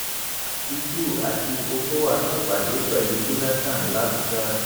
àtìkù àti ọkọwà ṣèpàdé pẹlú jonathan làbójà